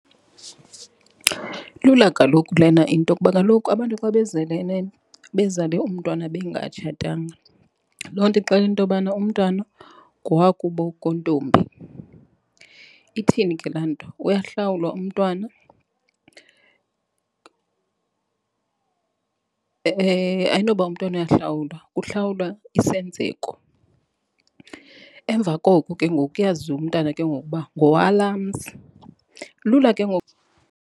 Ilula kaloku lena into kuba kaloku abantu xa bezelelene bezale umntwana bengatshatanga loo nto ixela into yobana umntwana ngowakubo kontombi. Ithini ke laa nto, uyahlawula umntwana ayinoba umntwana uyahlawula, kuhlawulwa isenzeko. Emva koko, ke ngoku kuyaziwa umntana ke ngoku uba ngowalaa mzi, lula ke ngoku.